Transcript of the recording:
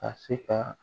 A se ka